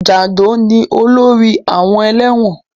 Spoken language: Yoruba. Jàndọ̀ ni olórí àwọn ẹlẹ́wọ̀n